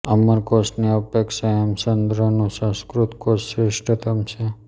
અમરકોશ ની અપેક્ષા હેમચંદ્રનૂ સંસ્કૃત કોશ શ્રેષ્ઠતમ છે